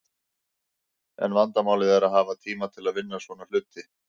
En vandamálið er að hafa tíma til að vinna svona hluti.